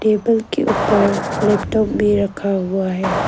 Table के ऊपर laptop भी रखा हुआ है।